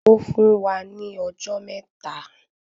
Ó fún wa ní ọjọ́ mẹ́ta.